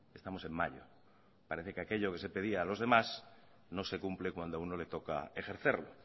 estamos en mayo parece que aquello que se pedía a los demás no se cumple cuando a uno le toca ejercerlo